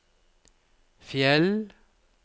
Fjell